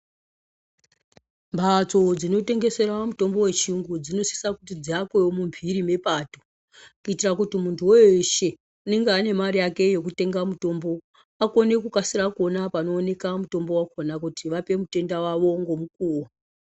Mhatso dzino tengeserwa mitombo yechiyungu dzinosisa kuti dziakwewo mumhiri mwepato, kuitira kuti munhu weeshe unenge ane mare yake yekutenga mutombo akone kukasira kuona panooneka mutombo wakhona kuti vape mutenda wavo ngomu kuwo.